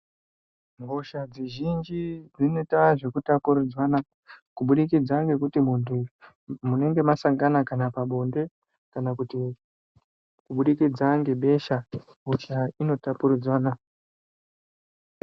Hosha dzizhinji dzinoita zvekutapuridzanwa kubudikidza ngekuti muntu, munenge masangano kana pabonde, kana kuti kubudikidza ngebesha. Hosha inotapuridzana.